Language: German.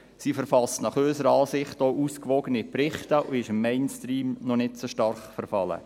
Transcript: Unserer Ansicht nach verfasst sie auch ausgewogene Berichte und ist dem Mainstream noch nicht so stark verfallen.